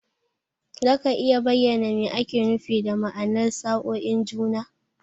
Za ka iya bayyana me ake nufi da ma'anar sa'oin juna?